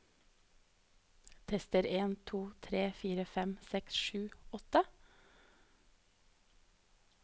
Tester en to tre fire fem seks sju åtte